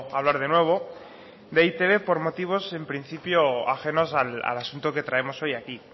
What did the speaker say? hablar de nuevo de e i te be por motivos en principio ajenos al asunto que traemos hoy aquí